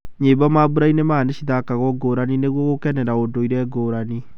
Nyĩmbo mambũrainĩ maya nĩcithakagwo ngũrani nĩguo gũkenera ũndũire ngũrani.